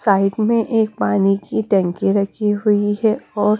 side में एक पानी की टैंकी रखी हुई है और--